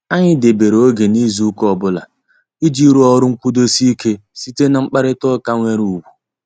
Anyị debere oge n'izu ụka ọbụla, iji rụọ ọrụ nkwudosi ike site na mkparita ụka nwere ugwu.